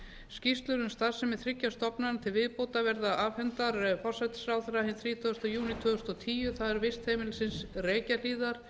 skýrslur um starfsemi þriggja stofnana við viðbótar verða afhentar forsætisráðherra hinn þrítugasta júní tvö þúsund og tíu það er vistheimilisins reykjahlíðar